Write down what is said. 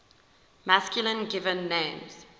masculine given names